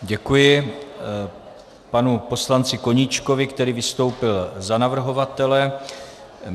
Děkuji panu poslanci Koníčkovi, který vystoupil za navrhovatele.